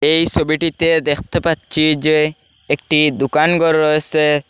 এই সোবিটিতে দেখতে পাচ্ছি যে একটি দুকান ঘর রয়েসে।